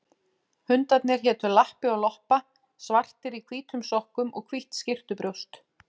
Hundarnir hétu Lappi og Loppa, svartir í hvítum sokkum og hvítt skyrtubrjóst.